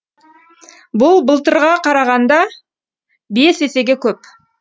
бұл былтырға қарағанда бес есеге көп